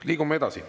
Liigume edasi.